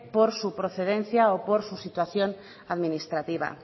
por su procedencia o por su situación administrativa